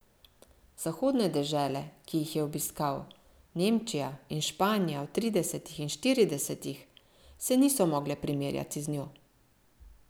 Zahodne dežele, ki jih je obiskal, Nemčija in Španija v tridesetih in štiridesetih, se niso mogle primerjati z njo.